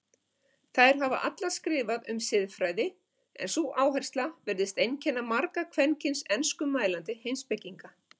Þær hafa allar skrifað um siðfræði en sú áhersla virðist einkenna marga kvenkyns enskumælandi heimspekinga.